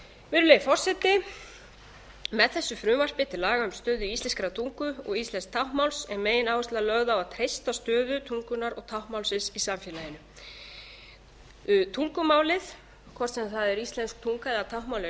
virðulegi forseti með þessu frumvarpi til laga um stöðu íslenskrar tungu og íslensks táknmáls er megináherslan lögð á að treysta stöðu tungunnar og táknmálsins í samfélaginu tungumálið hvort sem það er íslensk tunga eða táknmál er